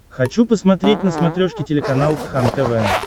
хочу посмотреть на смотрешке телеканал кхлм тв